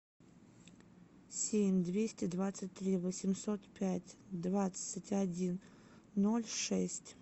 семь двести двадцать три восемьсот пять двадцать один ноль шесть